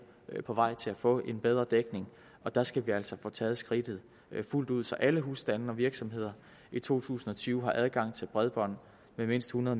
er på vej til at få en bedre dækning der skal vi altså få taget skridtet fuldt ud så alle husstande og virksomheder i to tusind og tyve har adgang til bredbånd med mindst hundrede